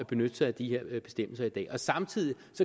benytte sig af de her bestemmelser i dag samtidig